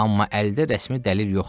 Amma əldə rəsmi dəlil yoxdur.